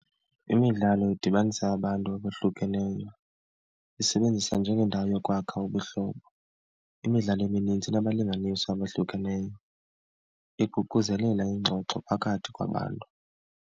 Imidlalo idibanisa abantu abohlukeneyo, isebenzisa njengeendawo yokwakha ubuhlobo. Imidlalo emininzi inabalinganiswa abahlukeneyo, iququzelela ingxoxo phakathi kwabantu.